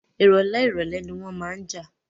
Ìrọ̀lẹ́ ìrọ̀lẹ́ ni wọ́n máa ń jà